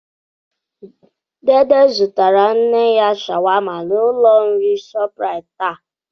Dede zụtara nne ya shawama n'ụlọ nri Shoprite taa.